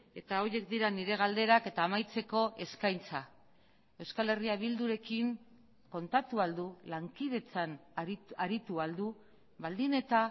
eta horiek dira nire galderak eta amaitzeko eskaintza euskal herria bildurekin kontatu ahal du lankidetzan aritu ahal du baldin eta